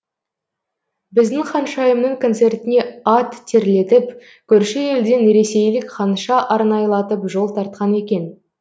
біздің ханшайымның концертіне ат терлетіп көрші елден ресейлік ханша арнайлатып жол тартқан екен